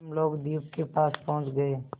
हम लोग द्वीप के पास पहुँच गए